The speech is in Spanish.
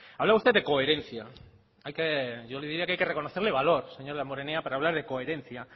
hablaba usted de coherencia hay que yo le diría que hay que reconocerle valor señor damborenea para hablar de coherencia